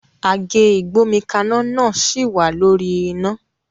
Àgé ìgbómikaná náà sì wà lórí iná